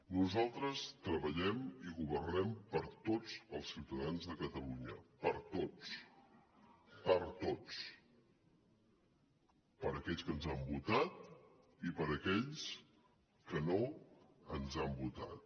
nosaltres treballem i governem per a tots els ciutadans de catalunya per a tots per a tots per a aquells que ens han votat i per a aquells que no ens han votat